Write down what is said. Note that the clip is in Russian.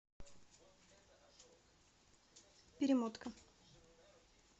перемотка